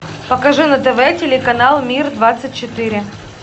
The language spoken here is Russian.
покажи на тв телеканал мир двадцать четыре